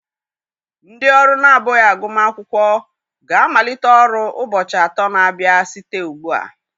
Ndị ọrụ na-abụghị agụmakwụkwọ ga-amalite ọrụ ụbọchị atọ na-abịa site ugbu a.